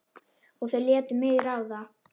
Og þau létu mig ráða.